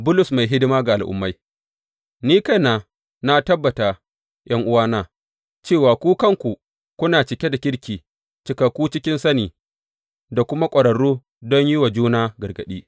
Bulus mai hidima ga al’ummai Ni kaina na tabbata, ’yan’uwana, cewa ku kanku kuna cike da kirki, cikakku cikin sani da kuma ƙwararru don yin wa juna gargaɗi.